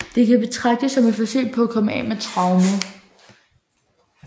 Det kan betragtes som et forsøg på at komme af med traumet